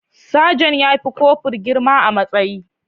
Sajan ya fi kofur girma a matsayi.